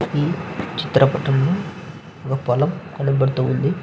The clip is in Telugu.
ఈ చిత్రపటంలో ఒక పొలం కనపడుతూ ఉంది.